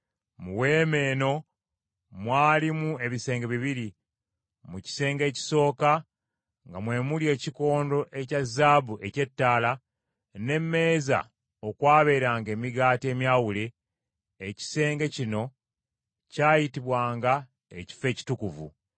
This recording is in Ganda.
Mu weema eno mwalimu ebisenge bibiri. Mu kisenge ekisooka nga mwe muli ekikondo ekya zaabu eky’ettaala, n’emmeeza okwabeeranga emigaati emyawule, ekisenge kino kyayitibwanga Ekifo Ekitukuvu.